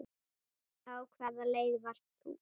Á hvaða leið varst þú?